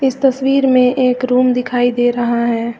इस तस्वीर में एक रूम दिखाई दे रहा है।